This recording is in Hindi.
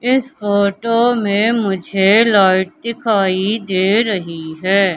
इस फोटो में मुझे लाइट दिखाई दे रही है।